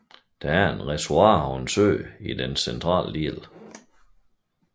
Der er et reservoir og en sø i dens centrale del